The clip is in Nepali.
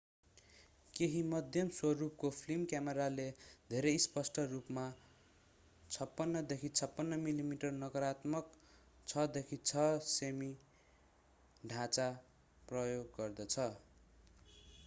केहि मध्यम-स्वरूपको फिल्म क्यामेराले धेरै स्पष्ट रूपमा 56देखि 56 मिमी नकारात्मक 6देखि 6 सेमी ढाँचा प्रयोग गर्दछ